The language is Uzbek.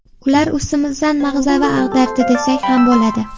Ular ustimizdan mag‘zava ag‘dardi desak ham bo‘ladi.